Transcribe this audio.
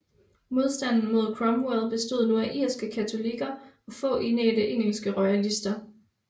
Modstanden mod Cromwell bestod nu af irske katolikker og få indædte engelske royalister